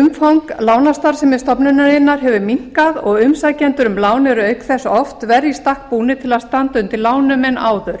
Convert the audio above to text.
umfang lánastarfsemi stofnunarinnar hefur minnkað og umsækjendur um lán eru auk þess oft verr í stakk búnir til að standa undir lánum en áður